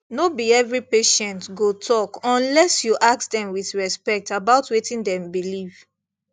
no be every patient go talk unless you ask dem with respect about wetin dem believe